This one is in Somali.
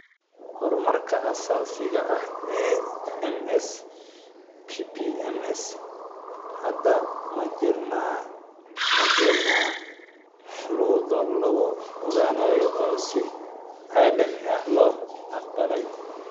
Horumarka aasaasiga ah ee MS (PP MS), hadda ma jiraan shuruudo lagu ogaanayo oo si caalami ah loo aqbalay.